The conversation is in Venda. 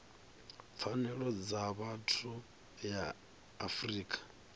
pfanelo dza vhathu ya afrika